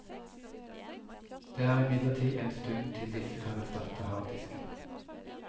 Det er imidlertid en stund til disse kan erstatte harddisken.